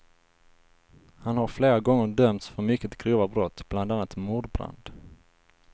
Han har flera gånger dömts för mycket grova brott, bland annat mordbrand.